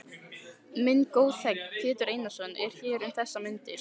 Minn góði þegn, Pétur Einarsson, er hér um þessar mundir.